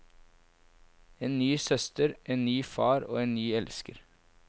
En ny søster, en ny far og en ny elsker.